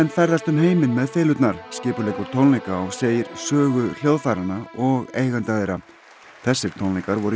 ferðast um heiminn með skipuleggur tónleika og segir sögu hljóðfæranna og eigenda þeirra þessir tónleikar voru í